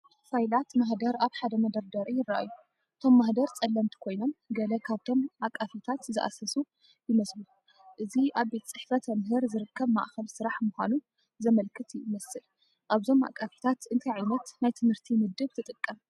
ፋይላት ማህደር ኣብ ሓደ መደርደሪ ይረኣዩ። እቶም ማህደር ጸለምቲ ኮይኖም፡ ገለ ካብቶም ኣቃፊታት ዝሃሰሱ ይመስሉ። እዚ ኣብ ቤት ጽሕፈት መምህር ዝርከብ ማእከል ስራሕ ምዃኑ ዘመልክት ይመስል። ኣብዞም ኣቃፊታት እንታይ ዓይነት ናይ ትምህርቲ ምድብ ትጥቀም ?